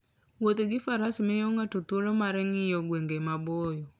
Wuoth gi faras miyo ng'ato thuolo mar ng'iyo gwenge maboyo.